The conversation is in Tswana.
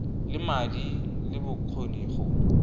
le madi le bokgoni go